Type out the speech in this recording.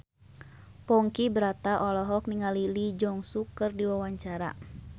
Ponky Brata olohok ningali Lee Jeong Suk keur diwawancara